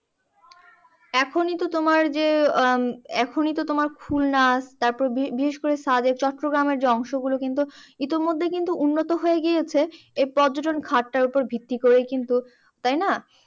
এখনই তো তোমার যে, আহ এখনই তো তোমার খুলনা তারপরে বিশেষ~ বিশেষকরে সাবেক চট্টগ্রামের যে অংশগুলো কিন্তু ইতিমধ্যে কিন্তু উন্নত হয়ে গিয়েছে এই পর্যটন খাতটার ওপরে ভিত্তি করেই কিন্তু, তাইনা?